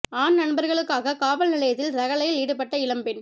ஆண் நண்பர்களுக்காக காவல் நிலையத்தில் ரகளையில் ஈடுபட்ட இளம்பெண்